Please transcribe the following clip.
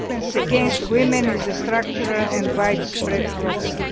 Violence against women is a structural and widespread problem.